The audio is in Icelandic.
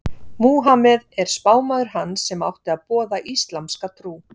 Múhameð er spámaður hans sem átti að boða íslamska trú.